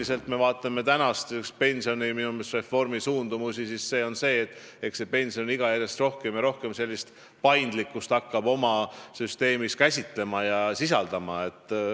Kui me vaatame pensionireformi suundumusi, siis võib öelda, et pensionisüsteem hakkab järjest rohkem ja rohkem paindlikkust sisaldama.